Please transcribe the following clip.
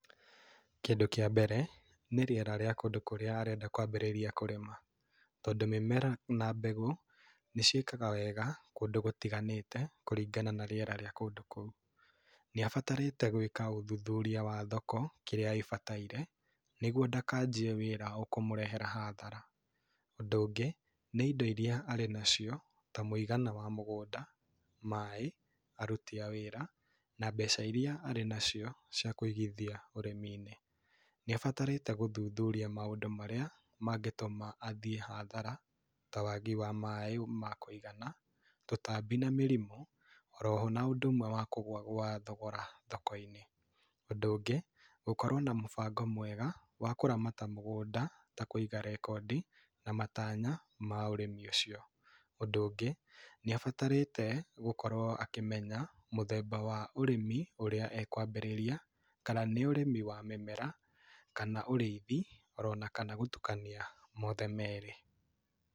Kĩndũ kĩa mbere, nĩ rĩera rĩa kũndũ kũrĩa arenda kwambĩrĩria kũrĩma. Tondũ mĩmera na mbegũ nĩ ciĩkaga wega kũndũ gũtiganĩte kũringana na rĩera rĩa kũndũ kũu. Nĩ abatarĩte gwĩka ũthuthuria wa thoko kĩrĩa ĩbatairie nĩguo ndakanjie wĩra ũkũmũrehera hathara. Ũndũ ũngĩ, nĩ indo irĩa arĩ nacio ta mũigana wa mũgũnda, maĩ, aruti a wĩra na mbeca irĩa arĩ nacio cia kũigithia ũrĩmi-inĩ. Nĩ abatarĩte gũthuthuria maũndũ marĩa mangĩtũma athĩ hathara, ta wagi wa maĩ ma kũigana, tũtambi na mĩrimũ, oroho na ũndũ ũmwe wa kũgũa kwa thogora thoko-inĩ. Ũndũ ũngi, gũkorwo na mũbango mwega wa kũramata mũgũnda ta kũiga rekondi na matanya ma ũrĩmi ũcio. Ũndũ ũngĩ nĩ abatarĩte gũkorwo akĩmenya mũthemba wa ũrĩmi ũrĩa ekwambĩrĩria, kana nĩ ũrĩmi wa mĩmera, kana ũrĩithi orona kana gũtukania mothe merĩ.